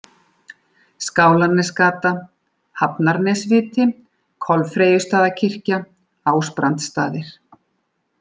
Skálanesgata, Hafnarnesviti, Kolfreyjustaðarkirkja, Ásbrandsstaðir